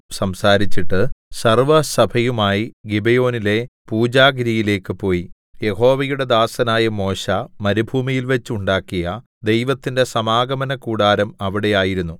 സംസാരിച്ചിട്ട് സർവ്വസഭയുമായി ഗിബെയോനിലെ പൂജാഗിരിയിലേക്ക് പോയി യഹോവയുടെ ദാസനായ മോശെ മരുഭൂമിയിൽവച്ച് ഉണ്ടാക്കിയ ദൈവത്തിന്റെ സമാഗമനകൂടാരം അവിടെ ആയിരുന്നു